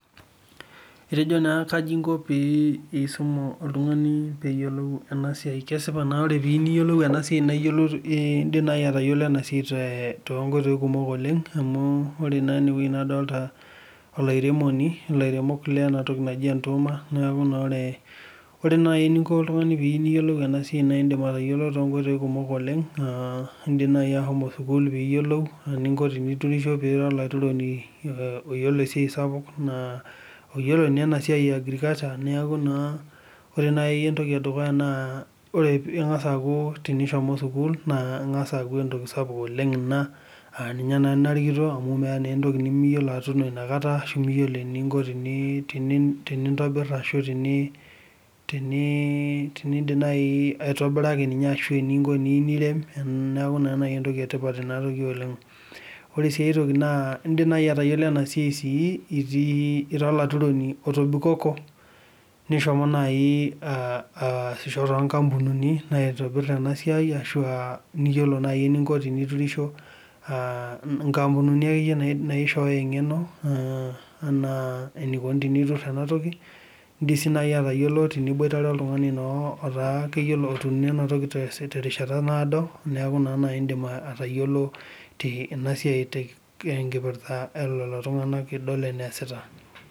Etejo naa kaji inko pee iisum oltung'ani peeyelou ena siai kesipa naa ore naa piiyeu niyolou ena siai naa iyolou iidim nai atayolo ena siai toonkoitoi kumok oleng' amuu ore naa enewei nadolita olairemoni ilairemok lena toki naji entooma, neeku naa ore, ore nai eningo oltung'ani piiyeu niyolou ena siai naidim atayolo toonkoitoi kumok oleng' aa iidim nai ashomo sukuul piiyolou iningo piiturisho pira olaturoni aa oyolo esia sapuk oyolo naa ena siai eagrikulcha neeku naa ore nai entoki edukuya naa ore ing'asa aaku tenishomo sukuul naa eng'asa aaku entoki sapuk ina aa ninye naa narikito amuu meete naa entoki nimiyolo atuuno inakata ashu miyolo iningo tenii tenintobirr ashu teni tenii teniindim nai aitobira ake ninye ashu eningo teniirem neeku naa entoki etipat akeenye ina oleng'. Ore sii ae toki naa iidim nai sii atayolo ena siai itii ira olaturroni otobikoko nishomo nai aa aa asisho tonkampunini naitobir ena siai ashu aa niyolo nai eningo teniturrisho aa inkampunini akeye naishoyoo engeno enaa eniakuni teniturr ena toki, iidim sii nai atayolo teniboitare oltungani nootaa keyiolo otuuno ena toki terishata naado neeku naa iidim naa atayolo ena siai tenkipirrta oolelo tung'ana idol enaasita.